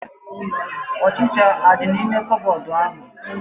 Ọchịchịa adị n'ime koobodu ahu?